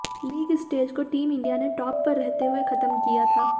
league stage को team India ने top पर रहते हुए खत्म किया था